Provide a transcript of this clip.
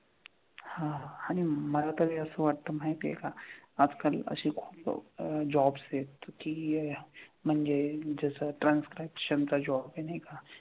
हां आणि मला तर हे असं वाटतं माहिती आहे का आजकाल अशी खूप अह jobs आहेत की म्हणजे जसं आता transcription चा job आहे नाही का.